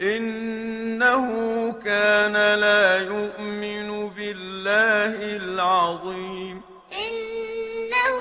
إِنَّهُ كَانَ لَا يُؤْمِنُ بِاللَّهِ الْعَظِيمِ إِنَّهُ